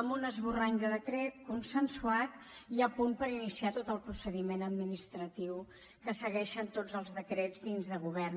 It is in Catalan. amb un esborrany de decret consensuat i a punt per iniciar tot el procediment administratiu que segueixen tots els decrets dins de govern